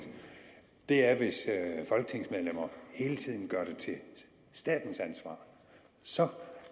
er er hvis folketingsmedlemmer hele tiden gør det til statens ansvar så